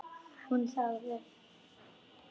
Hún þagði.